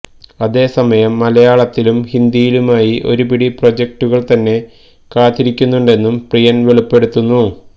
അതേസമയം മലയാളത്തിലും ഹിന്ദിയിലുമായി ഒരുപിടി പ്രൊജക്ടുകള് തന്നെ കാത്തിരിയ്ക്കുന്നുണ്ടെന്നും പ്രിയന് വെളിപ്പെടുത്തുന്നു